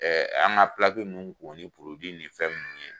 Ɛɛ an ka ninnu ko ni ni fɛn minnu ye